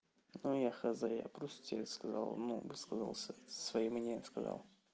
ну я хз я просто тебе сказал ну высказался своим мне сказал